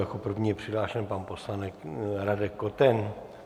Jako první je přihlášen pan poslanec Radek Koten.